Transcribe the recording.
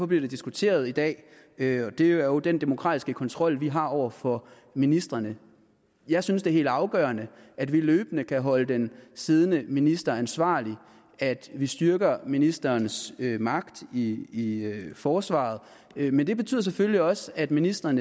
bliver diskuteret i dag og det er jo den demokratiske kontrol vi har over for ministrene jeg synes det er helt afgørende at vi løbende kan holde den siddende minister ansvarlig vi styrker ministerens magt i forsvaret men det betyder selvfølgelig også at ministeren